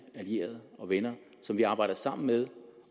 allierede og venner som vi arbejder sammen med